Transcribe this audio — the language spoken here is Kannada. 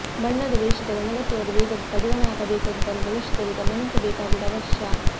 ಬಣ್ಣದ ವೇಷದಲ್ಲಿ ಅನಗತ್ಯವಾದ ವೇಗಕ್ಕೆ ಕಡಿವಾಣ ಹಾಕಬೇಕಾದುದನ್ನು ಭವಿಷ್ಯದಲ್ಲಿ ಗಮನಿಸಬೇಕಾಗುವುದು ಅವಶ್ಯ